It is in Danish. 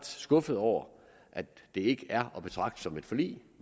skuffede over at det ikke er at betragte som et forlig